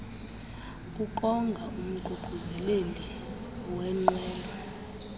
ukonga umququzeleli wenqwelo